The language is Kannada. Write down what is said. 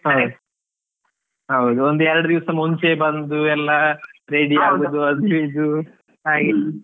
ಹೌದ್ ಒಂದ್ ಎರಡ್ ದಿವಸ ಮುಂಚೆ ಬಂದು ಎಲ್ಲ ready .